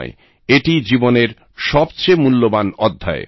এটি জীবনের সবচেয়ে মূল্যবান অধ্যায়